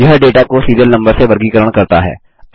यह डेटा को serial number से वर्गीकरण करता है